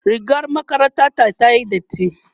rigar makarantar ta tayi dati